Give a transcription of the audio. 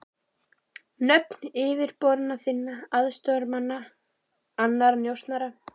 Nöfn yfirboðara þinna, aðstoðarmanna, annarra njósnara.